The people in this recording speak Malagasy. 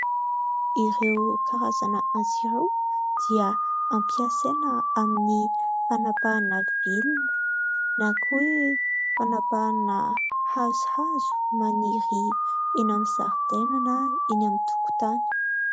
Ireo karazana antsy ireo, dia ampiasaina amin'ny fanapahana vilona na koa hoe : fanapahana hazohazo maniry eny amin'ny zaridaina na eny amin'ny tokontany.